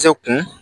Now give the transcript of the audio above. Cɛ kun